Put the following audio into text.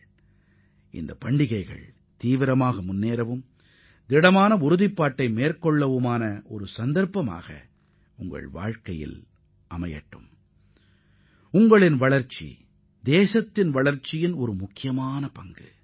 நாட்டின் முன்னேற்றத்திற்கு உங்களின் முன்னேற்றம் மிகவும் அவசியமாகும்